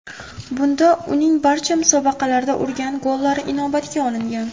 Bunda uning barcha musobaqalarda urgan gollari inobatga olingan.